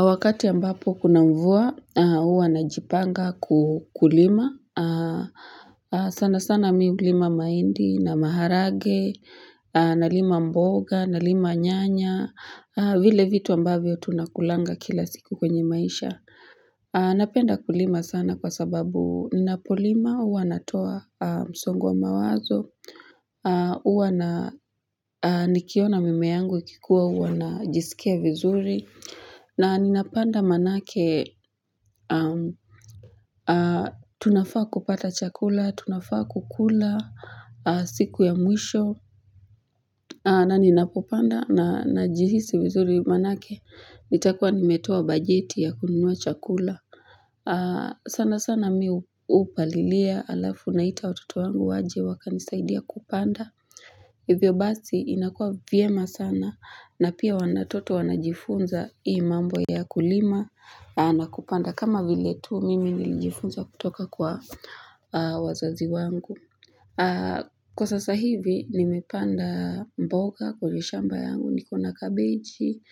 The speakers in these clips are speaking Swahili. Wakati ambapo kuna mvua, huwa najipanga kulima. Sana sana mimi hulima mahindi na maharage, nalima mboga, nalima nyanya, vile vitu ambavyo tunakulanga kila siku kwenye maisha. Napenda kulima sana kwa sababu ninapolima, huwa natoa msongo wa mawazo, huwa na nikiona mimea yangu ikikuwa huwa najisikia vizuri, na ninapanda maanake, tunafaa kupata chakula, tunafaa kukula, siku ya mwisho, na ninapopanda najihisi vizuri maanake, nitakuwa nimetoa bajeti ya kununua chakula. Sana sana mimi hupalilia alafu naita watoto wangu waje wakanisaidie kupanda Hivyo basi inakua vyema sana na pia watoto wanajifunza imambo ya kulima na kupanda kama vile tu mimi nijifunza kutoka kwa wazazi wangu Kwa sasa hivi nimepanda mboga kwenye shamba yangu niko na kabeji,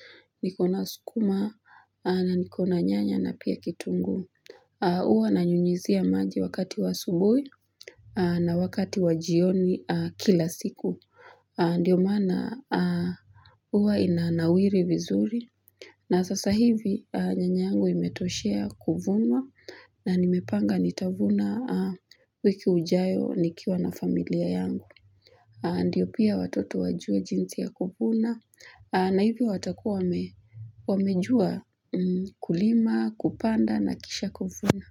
niko na sukuma na niko na nyanya na pia kitunguu huwa nanyunyuzia maji wakati wa asubuhi na wakati wa jioni kila siku. Ndiyo maana huwa inanawiri vizuri. Na sasa hivi nyanyangu imetoshea kuvunwa na nimepanga nitavuna wiki ijayo nikiwa na familia yangu. Ndiyo pia watoto wajue jinsi ya kuvuna na hivi watakua wamejua kulima, kupanda na kisha kuvuna.